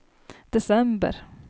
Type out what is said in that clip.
december